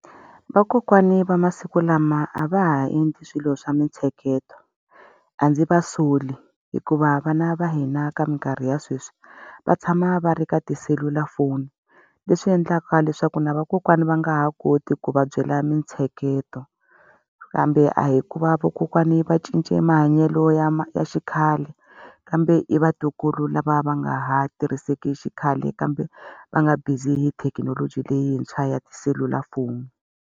Vakokwani va masiku lama a va ha endli swilo swa mintsheketo. A ndzi va soli hikuva vana va hina ka minkarhi ya sweswi, va tshama va ri ka tiselulafoni. Leswi endlaka leswaku na vakokwana va nga ha koti ku va byela mintsheketo. Kambe a hi ku va vakokwani va cince mahanyelo ya ya xikhale, kambe i vatukulu lava va nga ha tirhiseki xikhale kambe va nga busy hi thekinoloji leyintshwa ya tiselulafoni.